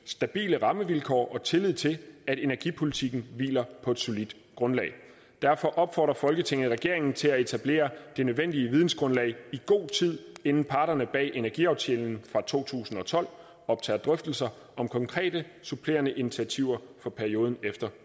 stabile rammevilkår og tillid til at energipolitikken hviler på et solidt grundlag derfor opfordrer folketinget regeringen til at etablere det nødvendige videngrundlag i god tid inden parterne bag energiaftalen fra to tusind og tolv optager drøftelser om konkrete supplerende initiativer for perioden efter